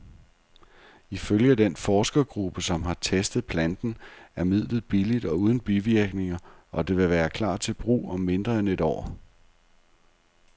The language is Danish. Ifølge den forskergruppe, som har testet planten, er midlet billigt og uden bivirkninger, og det vil klar til brug om mindre end et år.